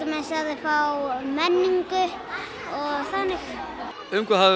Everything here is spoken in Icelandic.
fá menningu og þannig um hvað hafið